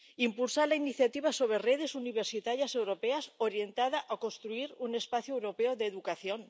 impulsar la iniciativa sobre redes universitarias europeas orientada a construir un espacio europeo de educación.